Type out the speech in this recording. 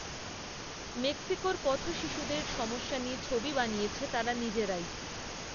মেক্সিকোর পথশিশুদের সমস্যা নিয়ে ছবি বানিয়েছে তারা নিজেরাই